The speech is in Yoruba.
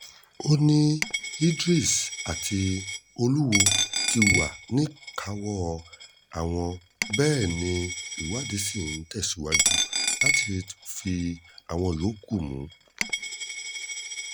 ó ní idris àti olúwo ti wà níkàáwọ́ àwọn bẹ́ẹ̀ ni ìwádìí ń tẹ̀síwájú láti rí àwọn yòókù mú